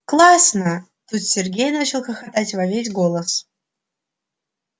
классно тут сергей начал хохотать во весь голос